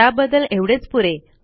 त्याबद्दल एवढेच पुरे